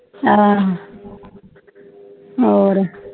ਇਹ ਹੋਰ